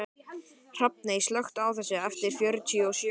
Hrafney, slökktu á þessu eftir fjörutíu og sjö mínútur.